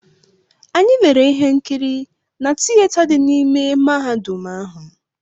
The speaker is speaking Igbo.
Anyị lere ihe nkiri na tiyeta dị n’ime mahadum ahụ.